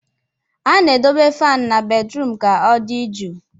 A na-edobe fan na bedrum ka ọ dị jụụ